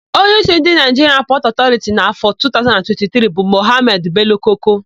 Onyeísí ndị Naịjiria Pọtụ Ọtọriti n'áfọ̀ a 2023 bụ Mọhamedị Belo-Koko.